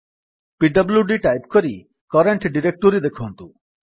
PWD type କରି current directory ଦେଖନ୍ତୁ